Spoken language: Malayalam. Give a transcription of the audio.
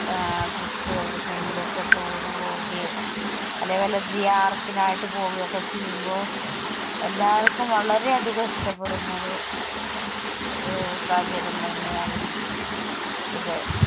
ആ trip എവിടെയെങ്കിലും ഒക്കെ toure പോകുകയും അല്ലെങ്കിൽ വെല്ലആയിട്ട് പോകെ ഒക്കെ ചെയ്യുമ്പോൾ, എല്ലാവര്ക്കും വളരെ അധികം ഇഷ്ടപെടുന്ന ഒരു ആഹ് സാഹചര്യം തന്നെ ആണ് ഈ ഇത്